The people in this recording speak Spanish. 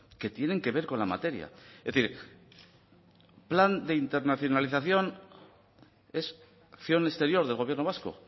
que tienen que ver con la materia es decir plan de internacionalización es acción exterior del gobierno vasco